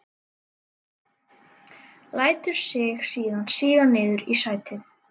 Lætur sig síðan síga niður í sætið.